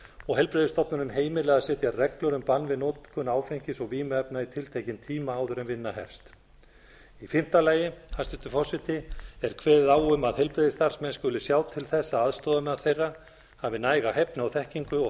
og heilbrigðisstofnunin heimilar að setja reglur um bann við notkun áfengis og vímuefna í tiltekinna tíma áður en vinna hefst í fimmta lagi hæstvirtur forseti er kveðið á um að heilbrigðisstarfsmenn skuli sjá til þess að aðstoðarmaður þeirra hafi næga hæfni og þekkingu og